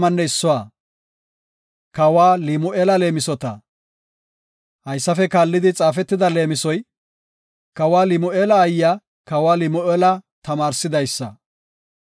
Haysafe kaallidi xaafetida leemisoy, kawa Limu7eela aayiya kawa Limu7eela tamaarsidaysa.